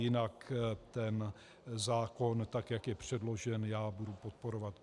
Jinak ten zákon, tak jak je předložen, já budu podporovat.